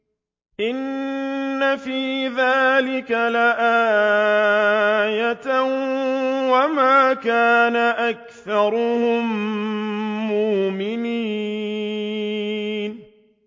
إِنَّ فِي ذَٰلِكَ لَآيَةً ۖ وَمَا كَانَ أَكْثَرُهُم مُّؤْمِنِينَ